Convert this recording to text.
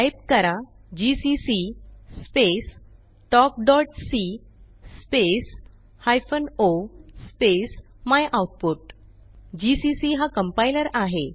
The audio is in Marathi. टाईप करा जीसीसी स्पेस talkसी space hyphen o space my output GCC हा कंपाइलर आहे